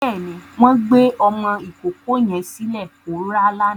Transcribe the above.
Bẹ́ẹ̀ni, wọ́n gbé ọmọ ìkókó yẹn sílẹ̀ kó rá lánàá.